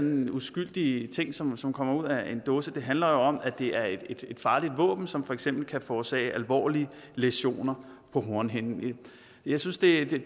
en uskyldig ting som som kommer ud af en dåse det handler om at det er at farligt våben som for eksempel kan forårsage alvorlige læsioner på hornhinden jeg synes det